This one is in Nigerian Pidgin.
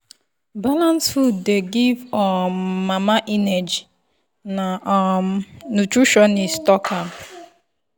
balanced food dey give um mama energy na um nutritionist talk am.